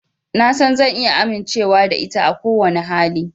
Na san zan iya amincewa da ita a kowane hali.